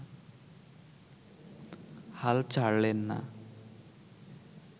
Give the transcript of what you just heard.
হাল ছাড়লেন না